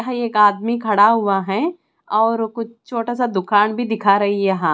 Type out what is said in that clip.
यहाँ एक आदमी खड़ा हुआ है और कुछ छोटा सा दुकान भी दिखा रही है यहाँ।